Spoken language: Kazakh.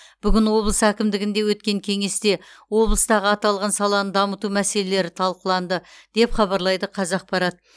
бүгін облыс әкімдігінде өткен кеңесте облыстағы аталған саланы дамыту мәселелері талқыланды деп хабарлайды қазақпарат